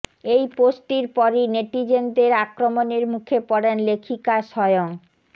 এই পোস্টটির পরই নেটিজেনদের আক্রমণের মুখে পড়েন লেখিকা স্বয়ং